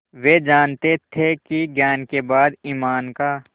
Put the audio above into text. वे जानते थे कि ज्ञान के बाद ईमान का